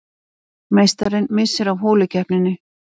Meistarinn missir af holukeppninni